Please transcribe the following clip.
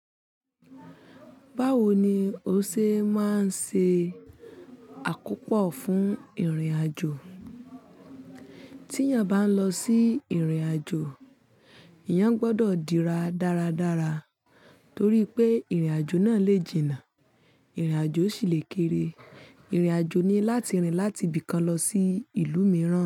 Báwo ni o ṣe máa ń ṣe àkópọ̀ fún ìrìnàjò? Tí èèyàn bá ń lọ sí ìrìnàjò, eèyàn gbọ́dọ̀ dira dáradára torí pé ìrìnàjò náà lè jìnnà, ìrìnàjò sì lè kere. Ìrìnàjò ni láti rìn láti ibì kan lọ sí ìlú mìíràn.